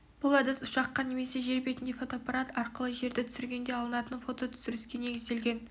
бұл әдіс ұшаққа немесе жер бетінде фотоаппарат арқылы жерді түсіргенде алынатын фототүсіріске негізделген